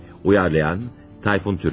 Uyğunlaşdıran: Tayfun Türkili.